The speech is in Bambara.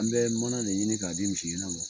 An bɛ manan de ɲini ka di misi gɛnna ma.